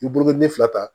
I ye burukini fila ta